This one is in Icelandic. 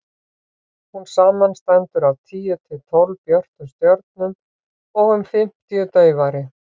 hún samanstendur af tíu til tólf björtum stjörnum og um fimmtíu daufari